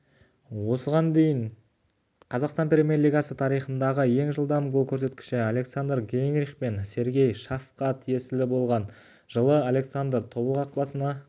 осыған дейін қазақстан премьер-лигасы тарихындағы ең жылдам гол көрсеткіші александр гейнрих пен сергей шаффқа тиесілі болған жылы александр тобыл қақпасына жылы сергей ақтөбе